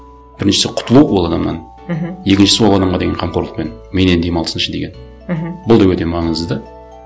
біріншісі құтылу ол адамнан мхм екіншісі ол адамға деген қамқорлықпен менен демалсыншы деген мхм бұл да өте маңызды да